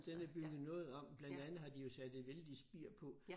Den er bygget noget om blandt andet har de jo sat et vældig spir på